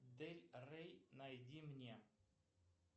дель рей найди мне